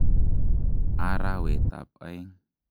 Arawetab aeng.